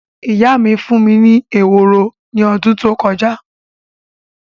Ìyá mí fún mí ní ehoro ní ọdún tó kọjá